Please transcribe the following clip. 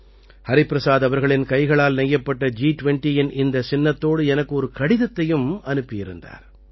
ஹரிபிரசாத் அவர்களின் கைகளால் நெய்யப்பட்ட ஜி20இன் இந்தச் சின்னத்தோடு எனக்கு ஒரு கடிதத்தையும் அனுப்பியிருந்தார்